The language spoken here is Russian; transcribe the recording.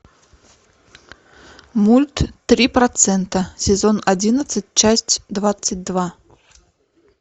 мульт три процента сезон одиннадцать часть двадцать два